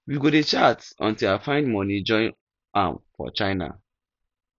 we go dey chat untill i find money join am for china